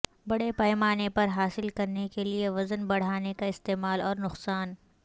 بڑے پیمانے پر حاصل کرنے کے لئے وزن بڑھانے کا استعمال اور نقصان